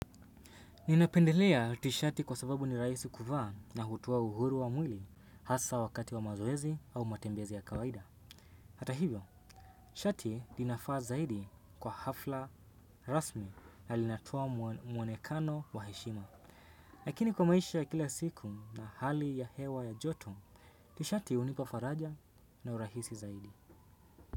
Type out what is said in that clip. Ninapendelea tishati kwa sababu ni rahisi kuvaa na hutoa uhuru wa mwili hasa wakati wa mazoezi au matembezi ya kawaida. Hata hivyo, shati linafaa zaidi kwa hafla rasmi na linatoa muonekano wa heshima. Lakini kwa maisha ya kila siku na hali ya hewa ya joto, tishati unipafaraja na urahisi zaidi.